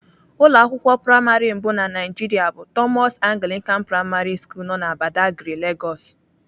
Ụlọ akwụkwọ praịmarị mbụ na Naịjiria bụ Thomas Anglican primary school nọ na Badagry, Lagos.